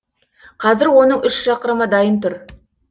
қазір оның үш шақырымы дайын тұр